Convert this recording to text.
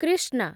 Krishna